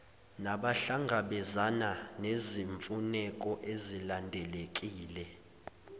nabahlangabezana nezimfuneko ezilindelekile